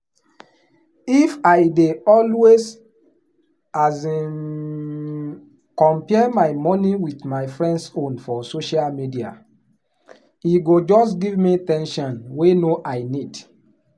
if i dey always um compare my money with my friends own for social media e go just give me ten sion wey no i need.